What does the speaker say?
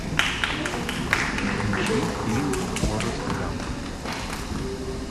включи фильм форест гамп